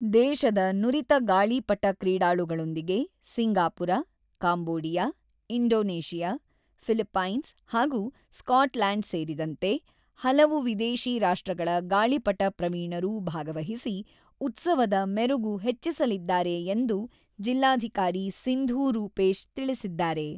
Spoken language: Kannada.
ದೇಶದ ನುರಿತ ಗಾಳಿಪಟ ಕ್ರೀಡಾಳುಗಳೊಂದಿಗೆ, ಸಿಂಗಾಪುರ, ಕಾಂಬೋಡಿಯಾ, ಇಂಡೋನೇಷಿಯಾ, ಫಿಲಿಪೈನ್ಸ್ ಹಾಗೂ ಸ್ಕಾಟ್‌ಲ್ಯಾಂಡ್ ಸೇರಿದಂತೆ, ಹಲವು ವಿದೇಶೀ ರಾಷ್ಟ್ರಗಳ ಗಾಳಿಪಟ ಪ್ರವೀಣರೂ ಭಾಗವಹಿಸಿ, ಉತ್ಸವದ ಮೆರುಗು ಹೆಚ್ಚಿಸಲಿದ್ದಾರೆ ಎಂದು ಜಿಲ್ಲಾಧಿಕಾರಿ ಸಿಂಧೂ ರೂಪೇಶ್ ತಿಳಿಸಿದ್ದಾರೆ.